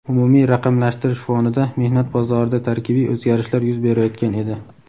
umumiy raqamlashtirish fonida mehnat bozorida tarkibiy o‘zgarishlar yuz berayotgan edi.